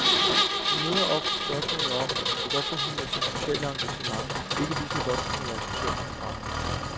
Hun møder ofte spørgsmålet om, hvorfor hun med sit sociale engagement ikke lige så godt kunne være socialdemokrat.